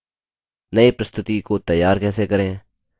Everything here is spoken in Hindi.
नई प्रस्तुति प्रज़ेन्टैशन कैसे तैयार करें